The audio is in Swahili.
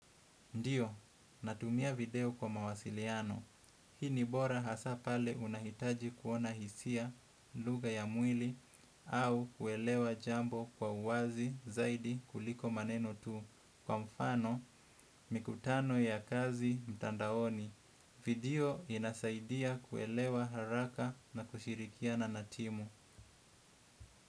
Ndiyo, natumia video kwa mawasiliano. Hii ni bora hasa pale unahitaji kuona hisia lugha ya mwili au kuelewa jambo kwa uwazi zaidi kuliko maneno tu kwa mfano mikutano ya kazi mtandaoni. Video inasaidia kuelewa haraka na kushirikiana na timu.